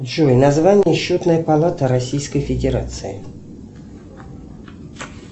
джой название счетной палаты российской федерации